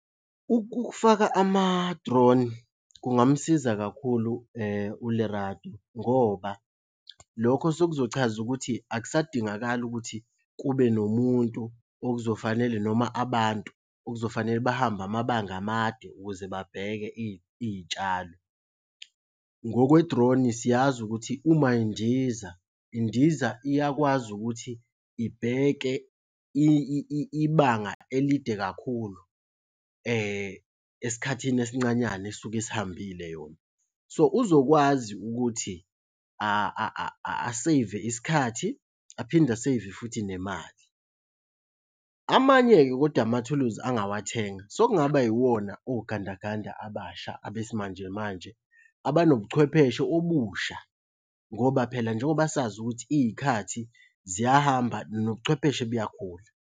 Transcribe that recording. Ukufaka ama-drone kungamsiza kakhulu uLerato ngoba lokho sekuzochaza ukuthi akusadingakali ukuthi kube nomuntu okuzofanele noma abantu okuzofanele bahambe amabanga amade ukuze babheke iy'tshalo. Ngokwe-drone siyazi ukuthi uma indiza indiza iyakwazi ukuthi ibheke ibanga elide kakhulu esikhathini esincanyana esuke isihambile yona. So, uzokwazi ukuthi aseyive isikhathi aphinde aseyve futhi nemali. Amanye-ke kodwa amathuluzi angawathenga sokungaba yiwona ogandaganda abasha abesimanjemanje abanobucwephesha obusha ngoba phela njengoba sazi ukuthi iy'khathi ziyahamba nobuchwepheshe buyakhula.